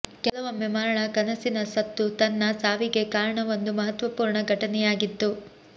ಕೆಲವೊಮ್ಮೆ ಮರಣ ಕನಸಿನ ಸತ್ತು ತನ್ನ ಸಾವಿಗೆ ಕಾರಣ ಒಂದು ಮಹತ್ವಪೂರ್ಣ ಘಟನೆಯಾಗಿತ್ತು